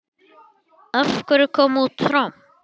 Af hverju kom út tromp?